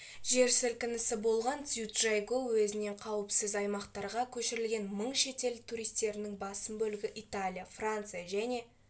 жер сілкінісі болған цзючжайгоу уезінен қауіпсіз аймақтарға көшірілген мың шетел туристерінің басым бөлігі италия франция және